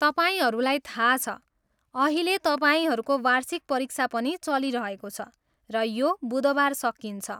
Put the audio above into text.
तपाईँहरूलाई थाहा छ, अहिले तपाईँहरूको वार्षिक परीक्षा पनि चलिरहेको छ र यो बुधबार सकिन्छ।